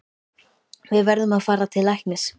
Við verðum að fara til læknis.